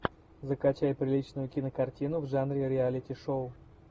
закачай приличную кинокартину в жанре реалити шоу